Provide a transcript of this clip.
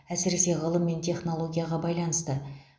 әсіресе ғылым мен технологияға байланысты